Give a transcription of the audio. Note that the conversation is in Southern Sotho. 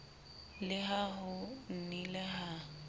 le ha ho nnile ha